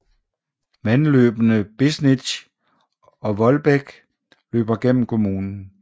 Vandløbene Bisnitz og Wohldbek løber gennem kommunen